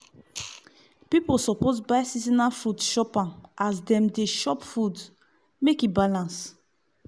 pipu suppose buy seasonal fruit chop am as them dey chop food make e balance.